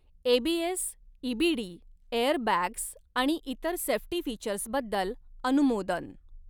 ABS, EBD, air bags आणि इतर safety फीचर्सबद्दल अनुमोदन.